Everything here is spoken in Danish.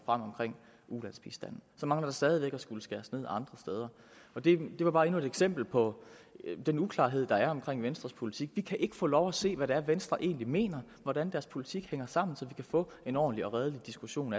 omkring ulandsbistanden der mangler stadig væk at skulle skæres ned andre steder det var bare endnu et eksempel på den uklarhed der er omkring venstres politik vi kan ikke få lov at se hvad det er venstre egentlig mener hvordan deres politik hænger sammen så vi kan få en ordentlig og redelig diskussion